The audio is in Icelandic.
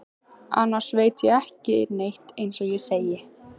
Annars veit ég ekki neitt eins og ég segi.